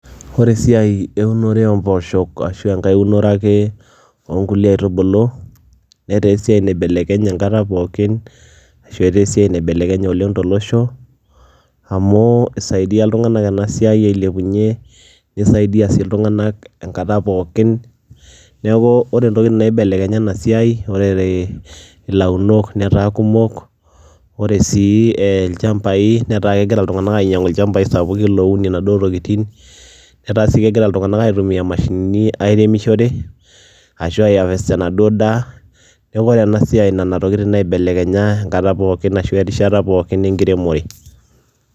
Ore esiiai eunoto omposho ashu enkae unore ake onkulie aitubulu netaa esiai naibelekenye enkata pookin ashu eta esiai naibelekenye oleng tolosho amu isaidia ltunganak enasiai ailepunye nisaidia si ltunganak enkata pookin neaku ore entoki naibelekenya enasia, ore launok netaabkumok, ore si lchambai netaa kegira ltunganak ainyangu lchambai sapukin ounie naduo tokitin, ata si kegira ltunganak aitumia naduo mashinini airemisho enaduo daa neaku ore enasiai nona tokitin naibelekenya enkata pookin enkiremore.